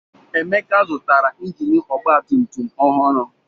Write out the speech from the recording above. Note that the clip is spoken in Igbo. Emeka zụtara injini ọgbatumtum ọhụrụ.